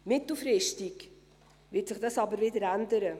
Mittelfristig wird sich das aber wieder ändern.